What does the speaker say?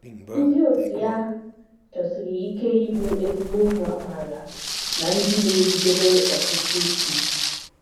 Ndị òtù ya chọsiri ike ịbụ ezigbo ụmụ amaala na ndị na - erubere ọchịchị isi.